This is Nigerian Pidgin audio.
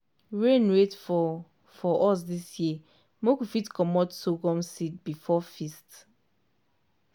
rain wait for for us dis year make we fit comot sorghum seed before feast.